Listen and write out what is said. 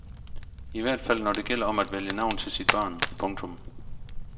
I hvert fald når det gælder om at vælge navn til sit barn. punktum